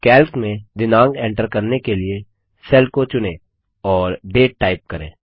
Calc में दिनांक enter करने के लिए सेल को चुनें और डेट टाइप करें